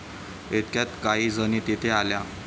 इतक्यात काही जणी तिथे आल्या.